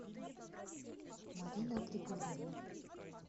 марина григорьевна